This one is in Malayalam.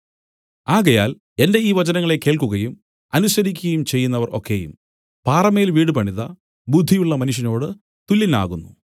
ആകയാൽ എന്റെ ഈ വചനങ്ങളെ കേൾക്കുകയും അനുസരിക്കുകയും ചെയ്യുന്നവർ ഒക്കെയും പാറമേൽ വീട് പണിത ബുദ്ധിയുള്ള മനുഷ്യനോടു തുല്യനാകുന്നു